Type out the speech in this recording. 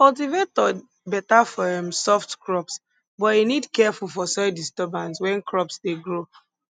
cultivator beta for um soft crops but e need careful for soil disturbance when crops dey grow